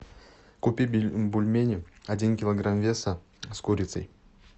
купи бульмени один килограмм веса с курицей